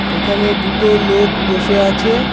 এখানে দুটো লোক বসে আছে।